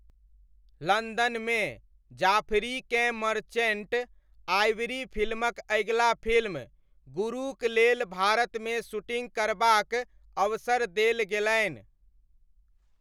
लन्दनमे, जाफरीकेँ Merchant Ivory फिल्मक अगिला फिल्म 'गुरू'क लेल भारतमे शूटिङ्ग करबाक अवसर देल गेलनि।